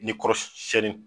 Ni kɔrɔ sɛni